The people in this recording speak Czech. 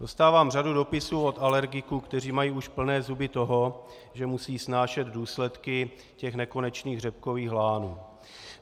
Dostávám řadu dopisů od alergiků, kteří mají už plné zuby toho, že musí snášet důsledky těch nekonečných řepkových lánů.